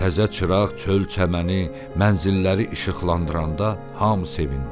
Təzə çıraq, çöl çəməni, mənzilləri işıqlandıranda hamı sevindi.